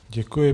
Děkuji.